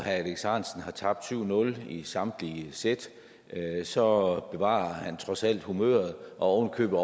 herre alex ahrendtsen har tabt syv nul i samtlige sæt så bevarer han trods alt humøret og har